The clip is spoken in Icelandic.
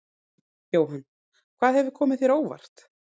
Jóhann: Hvað hefur komið þér á óvart?